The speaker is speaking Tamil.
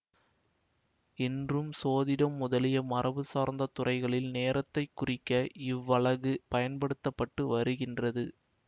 இன்றும் சோதிடம் முதலிய மரபு சார்ந்த துறைகளில் நேரத்தைக்குறிக்க இவ்வலகு பயன்படுத்த பட்டு வருகின்றது